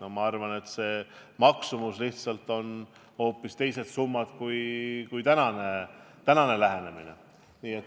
Aga ma arvan, et selle lahenduse maksumus on hoopis teistsugune, kui tänane lähenemine võimaldab.